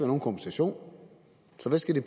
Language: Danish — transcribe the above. nogen kompensation så hvad skal den